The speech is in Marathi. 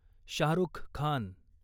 शाहरुख खान